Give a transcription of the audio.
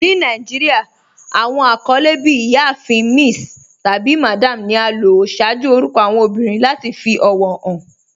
Ní Nàìjíríà, awọn akọlẹ bí "Ìyáàfin." "Miss," tabi "Madam" ni a lò ṣaaju orúkọ awọn obìrín lati fi ọwọ han.